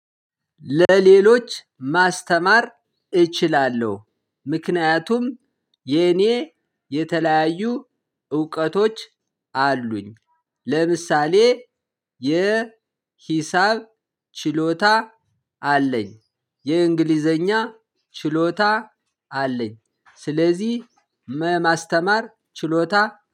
ለሌሎች ማስተማር እችላለሁ። ምክንያቱም የኔ የተለያዩ እውቀቶች አሉኝ። ለምሳሌ የሂሳብ ችሎታ አለኝ። የእንግሊዘኛ ችሎታ አለኝ። ስለዚህ ማስተማር ችሎታ